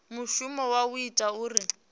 mushumo wa u ita uri